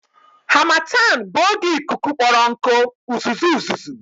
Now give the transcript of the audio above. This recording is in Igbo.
Harmattan bụ oge ikuku kpọrọ nkụ, uzuzu uzuzu